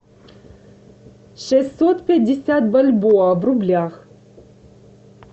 шестьсот пятьдесят бальбоа в рублях